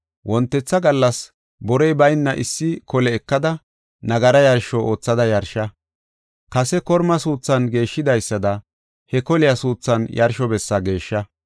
Wontetha gallas borey bayna issi kole ekada, nagara yarsho oothada yarsha. Kase korma suuthan geeshshidaysada he koliya suuthan yarsho bessa geeshsha.